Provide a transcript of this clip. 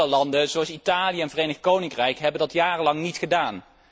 Andere landen, zoals Italië en het Verenigd Koninkrijk, hebben dat jarenlang niet gedaan.